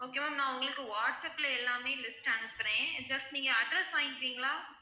okay ma'am நான் உங்களுக்கு வாட்ஸ்ஆப்ல எல்லாமே list அனுப்புறேன் just நீங்க address வாங்கிக்கிறீங்களா?